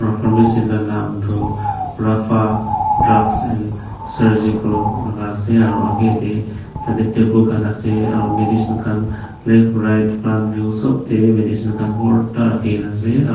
Pharmacy la nam tuh Rapha Drugs and Surgical laga ase aro agae dae tatey table khan ase aro medicine khan left right front view sob dae bhi medicine khan bhorta rakhikena ase aro--